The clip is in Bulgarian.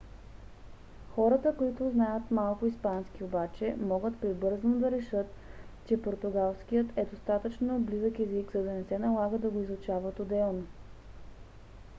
хората които знаят малко испански обаче могат прибързано да решат че португалският е достатъчно близък език за да не се налага да го изучават отделно